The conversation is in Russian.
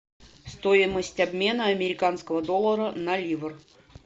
стоимость обмена американского доллара на ливр